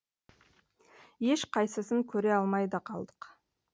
ешқайсысын көре алмай да қалдық